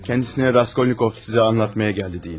Ona Raskolnikov sizə danışmağa gəldi deyin.